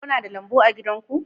Kuna da lambu a gidan ku?